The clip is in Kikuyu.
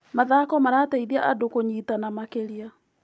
Mathako marateithia andũ kũnyitana makĩria.